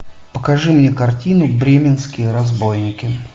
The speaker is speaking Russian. покажи мне картину бременские разбойники